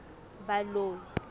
baloi